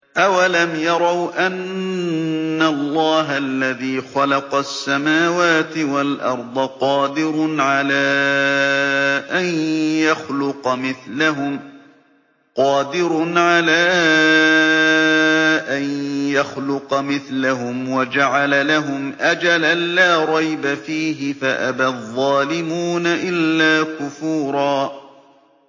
۞ أَوَلَمْ يَرَوْا أَنَّ اللَّهَ الَّذِي خَلَقَ السَّمَاوَاتِ وَالْأَرْضَ قَادِرٌ عَلَىٰ أَن يَخْلُقَ مِثْلَهُمْ وَجَعَلَ لَهُمْ أَجَلًا لَّا رَيْبَ فِيهِ فَأَبَى الظَّالِمُونَ إِلَّا كُفُورًا